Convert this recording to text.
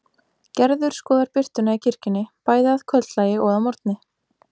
Gerður skoðar birtuna í kirkjunni, bæði að kvöldlagi og að morgni.